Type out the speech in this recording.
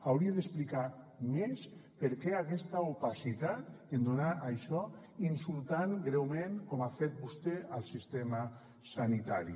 hauria d’explicar més per què aquesta opacitat en donar això insultant greument com ha fet vostè el sistema sanitari